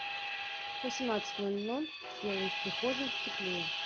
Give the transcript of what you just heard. в восемнадцать ноль ноль сделай в прихожей теплее